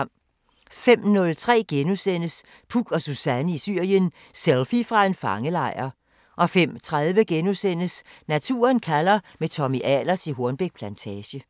05:03: Puk og Suzanne i Syrien: Selfie fra en fangelejr * 05:30: Naturen kalder – med Tommy Ahlers i Hornbæk Plantage *